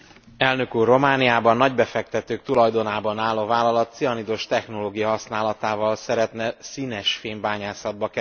Romániában nagybefektetők tulajdonában álló vállalat cianidos technológia használatával szeretne színesfém bányászatba kezdeni.